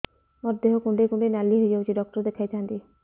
ମୋର ଦେହ କୁଣ୍ଡେଇ କୁଣ୍ଡେଇ ନାଲି ହୋଇଯାଉଛି ଡକ୍ଟର ଦେଖାଇ ଥାଆନ୍ତି